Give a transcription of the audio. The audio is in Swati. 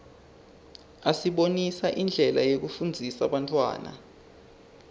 asibonisa indlela yekufundzisa bantfwana